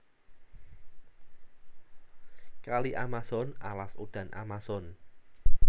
Kali Amazon Alas udan Amazon